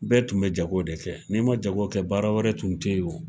Bɛɛ tun bɛ jago de kɛ ,n'i ma jago kɛ baara wɛrɛ tun tɛ yen o.